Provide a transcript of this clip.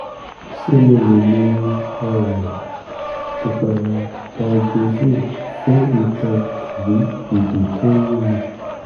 ṣé mo lè lo um ìpara hydrozole fún itan tàbí ìdí tó ń yúnni?